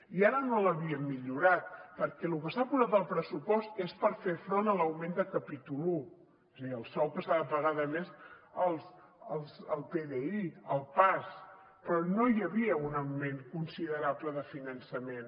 i ara no l’havíem millorat perquè lo que s’ha posat al pressupost és per fer front a l’augment de capítol un és a dir el sou que s’ha de pagar de més al pdi al pas però no hi havia un augment considerable de finançament